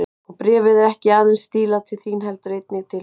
Og bréfið er ekki aðeins stílað til þín heldur einnig til hinna.